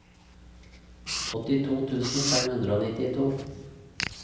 åttito tusen fem hundre og nittito